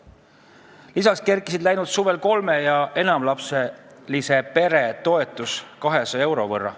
Lisaks kerkis läinud suvel kolme- ja enamalapselise pere toetus 200 euro võrra.